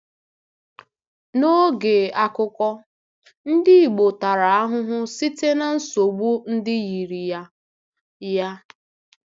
N'oge akụkọ, ndị Igbo tara ahụhụ site na nsogbu ndị yiri ya. ya.